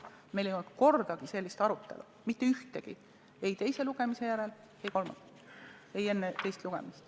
Meil ei olnud kordagi sellist arutelu, mitte ühtegi, ei enne teist lugemist, ei teise lugemise järel.